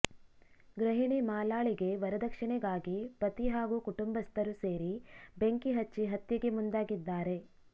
ಗೃಹಿಣಿ ಮಾಲಾಳಿಗೆ ವರದಕ್ಷಿಣೆಗಾಗಿ ಪತಿ ಹಾಗೂ ಕುಟುಂಬಸ್ಥರು ಸೇರಿ ಬೆಂಕಿ ಹಚ್ಚಿ ಹತ್ಯೆಗೆ ಮುಂದಾಗಿದ್ದಾರೆ